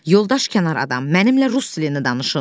Yoldaş kənar adam, mənimlə rus dilində danışın.